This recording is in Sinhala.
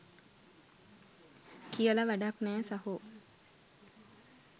කියල වඩක් නෑ සහෝ.